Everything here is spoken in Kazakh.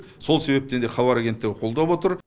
сол себептен де хабар агенттігі қолдап отыр